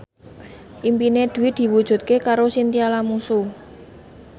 impine Dwi diwujudke karo Chintya Lamusu